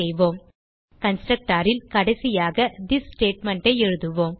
constructor ல் கடைசியாக this statement ஐ எழுதுவோம்